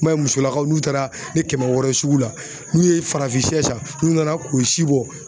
I m'a ye musolakaw n'u taara ni kɛmɛ wɔɔrɔ ye sugu la n'u ye farafin sɛ san n'u nana k'o si bɔ